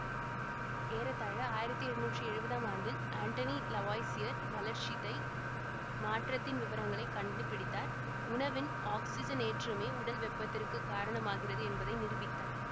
ஏறத்தாழ ஆயிரத்தி எழுநூற்றி எழுவதாம் ஆண்டில் அண்டோனி லவாய்சியர் வளர்ச்சிதை மாற்றத்தின் விவரங்களை கண்டுபிடித்தார் உணவின் ஆக்ஸிஜனேற்றமே உடல் வெப்பத்திற்கு காரணமாகிறது என்பதை நிரூபித்தார்